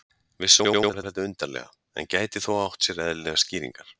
Vissulega hljómar þetta undarlega, en gæti þó átt sér eðlilegar skýringar.